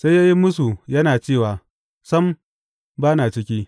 Sai ya yi mūsu, yana cewa, Sam, ba na ciki.